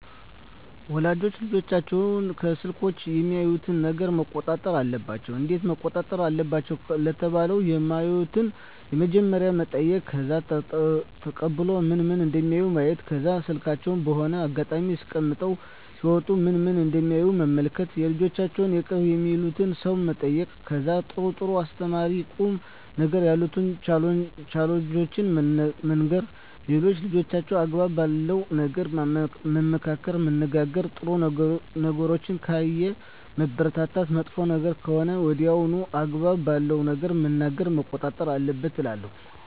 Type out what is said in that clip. ወላጆች ልጆቻቸውን ከስልኮች የሚያዩትን ነገረ መቆጣጠር አለባቸው እንዴት መቆጣጠር አለባቸው ለተባለው የማዩትን በመጀመሪያ መጠይቅ ከዛ ተቀብሎ ምን ምን እደሚያዩ ማየት ከዛ ስልካቸውን በሆነ አጋጣሚ አስቀምጠው ሲወጡ ምን ምን እደሚያዩ መመልከት የልጆቻቸውን የቅርብ የሚሉትን ሰው መጠየቅ ከዛ ጥሩ ጥሩ አስተማሪ ቁም ነገሮችን ያሉትን ቻናሎችን መንገር ሌላው ልጆችን አግባብ ባለው ነገር መመካከር መነጋገር ጥሩ ነገሮችን ካየ ማበረታታት መጥፎ ነገር ከሆነ ሜያየው አግባብነት ባለው ነገር መናገር መቆጣት አለብን እላለው